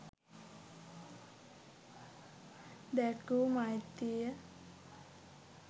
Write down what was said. දැක්වූ මෛත්‍රිය